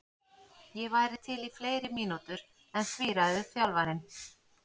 Ég væri til í fleiri mínútur en því ræður þjálfarinn.